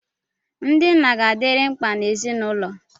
Ndị nna ga-adịrịrị mkpa n'ezinụlọ.